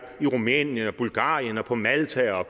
i rumænien bulgarien på malta